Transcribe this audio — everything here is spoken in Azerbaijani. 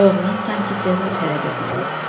Oğlan sanki cəza tələb edirdi.